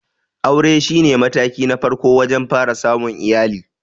Aure shi ne mataki na farko wajen fara samun iyali.